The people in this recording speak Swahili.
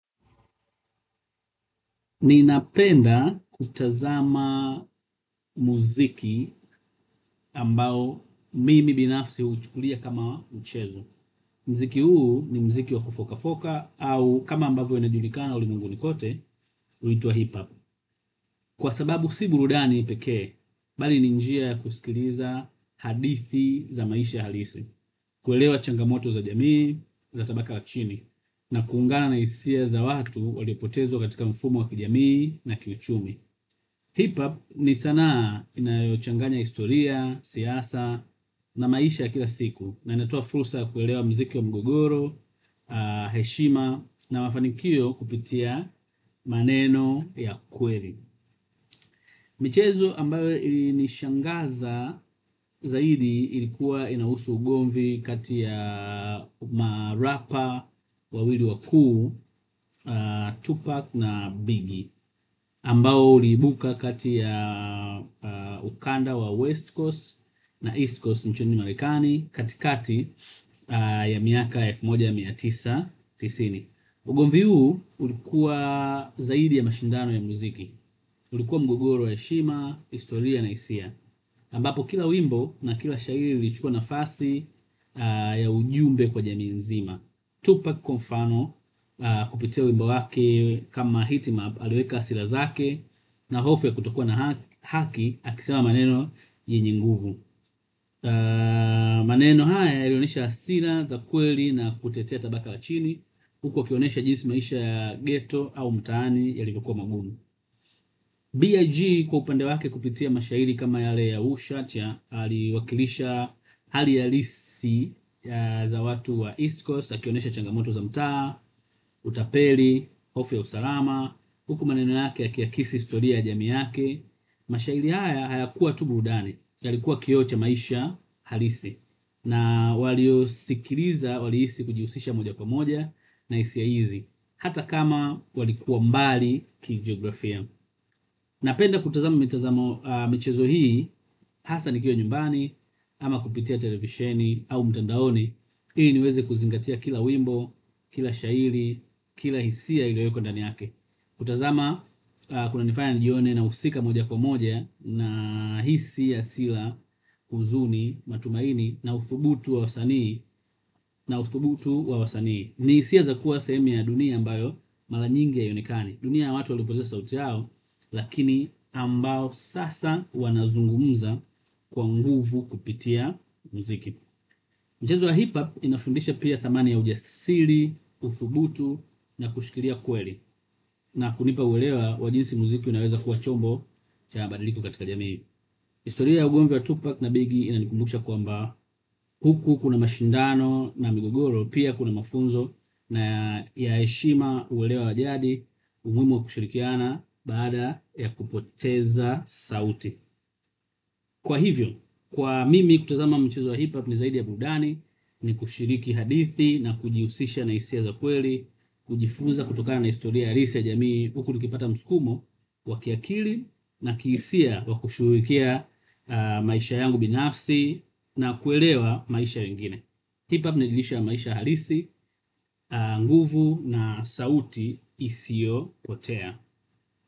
Ninapenda kutazama muziki ambao mimi binafsi huchukulia kama mchezo. Muziki huu ni muziki wa kufokafoka au kama ambavyo inajulikana ulimwenguni kote, huitwa hip hop. Kwa sababu si burudani pekee, bali ni njia ya kusikiliza hadithi za maisha halisi, kuelewa changamoto za jamii, za tabaka la chini, na kuungana na hisia za watu waliopotezwa katika mfumo wa kijamii na kiuchumi. Hiphop ni sanaa inayochanganya historia, siasa, na maisha ya kila siku na inatoa fursa ya kuelewa muziki wa mgogoro heshima na mafanikio kupitia maneno ya kweli. Michezo ambayo ilinishangaza zaidi ilikuwa inahusu ugomvi kati ya marapa, wawili wakuu, Tupac na Biggie. Ambao uliibuka kati ya ukanda ya west coast na east coast nchini Marekani katikati ya mwaka elfu moja na mia tisa. Ugomvi huu ulikuwa zaidi ya mashindano ya muziki. Ulikuwa mgogoro ya heshima, historia na hisia ambapo kila wimbo na kila shairi lilichukuwa nafasi ya ujumbe kwa jamii nzima Tupac kwa mfano kupitia wimbo wake kama hitiman aliweka hasira zake na hofu ya kutokuwa na haki akisema maneno yenye nguvu. Maneno haya yalionyesha hasira za kweli na kutetea tabaka la chini huku akionyesha jinsi maisha ya ghetto au mtaani yalivyokuwa magumu pia G. Kwa upande wake kupitia mashairi kama yale ya ushatia aliwakilisha hali halisi za watu wa East Coast akionyesha changamoto za mtaa, utapeli, hofu ya usalama. Huku maneno yake yakiakisi historia ya jamii yake. Mashairi haya hayakuwa tu burudani yalikuwa kioo cha maisha halisi na waliosikiliza walihisi kujihusisha moja kwa moja na hisia hizi hata kama walikuwa mbali kijiografia. Napenda kutazama michezo hii, hasa nikiwa nyumbani, ama kupitia televisheni au mtandaoni. Ili niweze kuzingatia kila wimbo, kila shairi, kila hisia iliwekwa ndani yake. Kutazama, kunanifaya nijione nahusika moja kwa moja na hisia si la huzuni, matumaini, na uthubutu wa wasanii, na uthubutu wa wasanii. Ni hisia za kuwa sehemu ya dunia ambayo mara nyingi hainekani. Dunia ya watu waliopozea sauti yao lakini ambao sasa wanazungumza kwa nguvu kupitia muziki. Mchezo wa hip hop inafundisha pia thamani ya ujasiri, uthubutu na kushikilia kweli na kunipa uelewa wavjinsi muziki unaweza kuwa chombo cha mabadiliko katika jamii. Historia ya ugomvi wa Tupac na Biggie inanikumbusha kwamba huku kuna mashindano na migogoro pia kuna mafunzo na ya heshima ulewa wa jadi, umuhimu wa kushirikiana baada ya kupoteza sauti kwa hivyo, kwa mimi kutazama mchezo wa hiphop ni zaidi ya burudani. Ni kushiriki hadithi na kujihusisha na hisia za kweli. Kujifunza kutokana na historia halisi ya jamii huku tukipata msukumo wa kiakili na kihisia wa kushughulikia maisha yangu binafsi na kuelewa maisha ya wengine. Hiphop ni lisho ya maisha halisi, nguvu na sauti isiopotea.